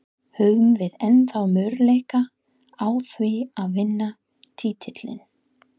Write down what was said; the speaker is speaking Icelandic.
Höfum við ennþá möguleika á því að vinna titilinn?